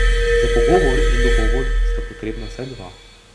Za pogovor in dogovor sta potrebna vsaj dva.